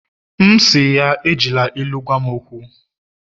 M'we si ya, Ejila ilu gwam okwu